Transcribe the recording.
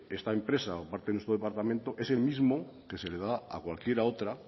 esta empresa por parte de nuestro departamento es el mismo que se le da a cualquiera otra